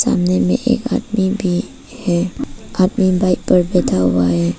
सामने में एक आदमी भी है आदमी बाइक पर बैठा हुआ है।